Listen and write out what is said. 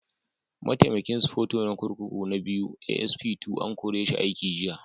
Mataimakin Sufeto na kurkuku na Biyu (ASP II) an kore shi aiki jiya.